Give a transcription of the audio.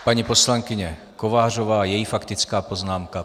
Paní poslankyně Kovářová, její faktická poznámka.